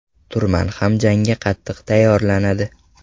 Turman ham jangga qattiq tayyorlanadi.